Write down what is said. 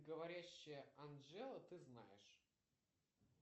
говорящая анжела ты знаешь